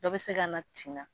Dɔw bɛ se ka na tin na